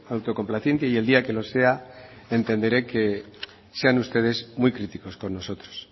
autocomplaciente y el día que lo sea entenderé que sean ustedes muy críticos con nosotros